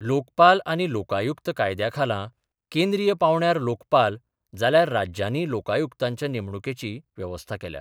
लोकपाल आनी लोकायुक्त कायद्याखाला केंद्रीय पांवड्यार लोकपाल जाल्यार राज्यानी लोकायुक्तांच्या नेमणूकेची व्यवस्था केल्या.